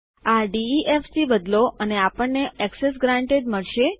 આ defથી બદલો અને આપણને એક્સેસ ગ્રાન્ટેડ મળશે